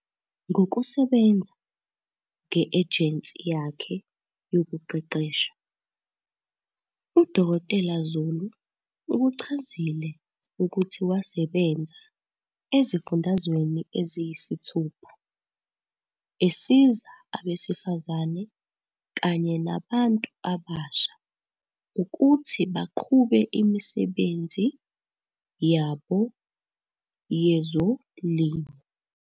Ngokusebenza nge-ejensi yakhe yokuqeqesha, u-Dkt Zulu ukuchazile ukuthi wasebenza ezifundazweni eziyisithupha, esiza abesifazane kanye nabantu abasha ukuthi baqhube imisebenzi yabo yezolimo.